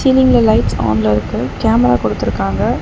ஃசீலிங்ல lights ஆன்ல இருக்கு camera குடுத்திருக்காங்க.